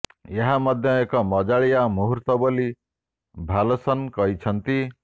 ଏହା ମଧ୍ୟ ଏକ ମଜାଳିଆ ମୁହୂର୍ତ ବୋଲି ଭାଲସନ୍ କହିଛନ୍ତି